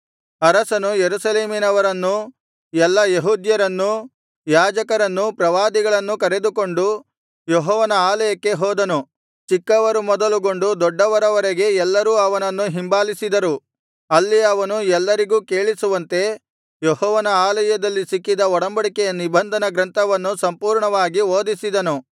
ಅರಸನು ಯೆರೂಸಲೇಮಿನವರನ್ನೂ ಎಲ್ಲಾ ಯೆಹೂದ್ಯರನ್ನೂ ಯಾಜಕರನ್ನೂ ಪ್ರವಾದಿಗಳನ್ನೂ ಕರೆದುಕೊಂಡು ಯೆಹೋವನ ಆಲಯಕ್ಕೆ ಹೋದನು ಚಿಕ್ಕವರು ಮೊದಲುಗೊಂಡು ದೊಡ್ಡವರವರೆಗೆ ಎಲ್ಲರೂ ಅವನನ್ನು ಹಿಂಬಾಲಿಸಿದರು ಅಲ್ಲಿ ಅವನು ಎಲ್ಲರಿಗೂ ಕೇಳಿಸುವಂತೆ ಯೆಹೋವನ ಆಲಯದಲ್ಲಿ ಸಿಕ್ಕಿದ ಒಡಂಬಡಿಕೆಯ ನಿಬಂಧನ ಗ್ರಂಥವನ್ನು ಸಂಪೂರ್ಣವಾಗಿ ಓದಿಸಿದನು